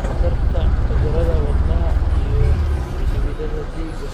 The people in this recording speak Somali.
khatarta cudurrada wadnaha iyo xididdada dhiigga.